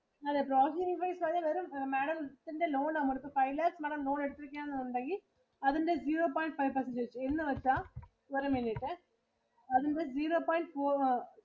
അതെ processing fees അതിൽ വരും. Madam ത്തിന്റെ loan ഇപ്പൊ five lakhs Madam loan എടുത്തിരിക്കുകയാണെന്നുണ്ടെങ്കിൽ അതിന്റെ zero point five percentage എന്ന് വെച്ചാ. ഒരു minute അതിന്റെ zero point four